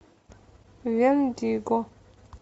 вендиго